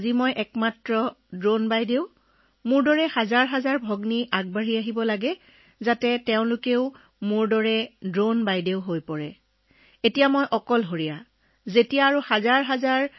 এতিয়া মোক কেৱল ড্ৰোন দিদি বুলি জনা যায় হাজাৰ হাজাৰ ভগ্নী আগবাঢ়ি আহি মোৰ দৰে ড্ৰোন দিদি হৈ পৰে আৰু মোৰ লগতে আন হাজাৰ হাজাৰ ভগ্নী আগবাঢ়ি আহিলে মই বৰ সুখী হম বৰ ভাল হব